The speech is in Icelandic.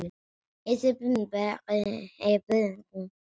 Þú skilur mig.